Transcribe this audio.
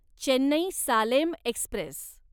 Chennai Salem Express